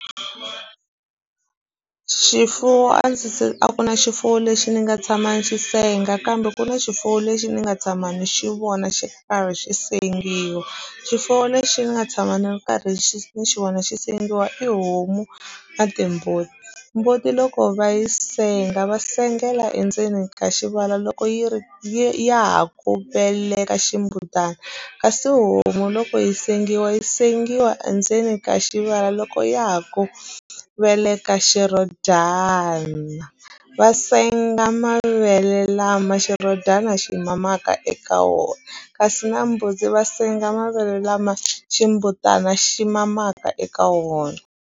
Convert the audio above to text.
Xifuwo a ndzi se a ku na xifuwo lexi ni nga tshama ni xi senga kambe ku na xifuwo lexi ni nga tshama ni xi vona xi karhi xi sengiwa swifuwo lexi ni nga tshama ni ri karhi xi ni xi vona xi sengiwa i homu na timbuti mbuti loko va yi senga va sengela endzeni ka xivala loko yi ri ha ku eleka ximbutani kasi homu loko yi sengiwa yi sengiwa endzeni ka xivala loko ya ha ku veleka xirhodyana va senga mavele lama xirhodyana xi mamaka eka wona kasi na mbuti va senga mavele lama ximbutana xi mamaka eka wona.